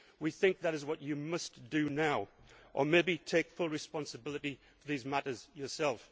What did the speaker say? damage. We think that is what you must do now, or maybe take full responsibility for these matters yourself.